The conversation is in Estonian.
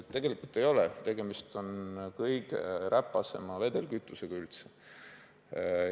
Tegelikult see nii ei ole, tegemist on kõige räpasema vedelkütusega üldse.